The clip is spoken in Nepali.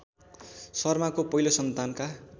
शर्माको पहिलो सन्तानका